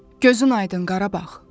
Gözün aydın Qarabağ.